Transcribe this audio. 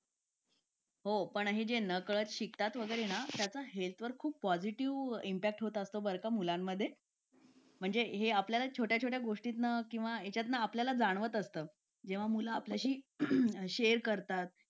हो पण हे जे नकळत शिकतात ना हेल्थ वर खूप पॉझिटिव्ह इंटॅक्ट होत असतो मुलांमध्ये म्हणजे हे आपल्याला छोट्या छोट्या गोष्टींना आपल्याला जाणवत असतं किंवा मुलं आपल्याशी शेअर करतात